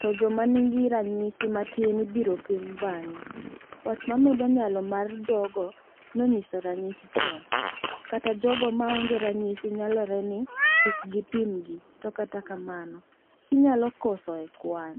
to joma nigiranyisi ma tin ibiro pim bang'e. wach ma medo nyalo mar jogo ma nonyiso ranyisi chon. kata jogo ma onge ranyisi nyalore ni kikpimgi to mano kinyalo koso e kwan.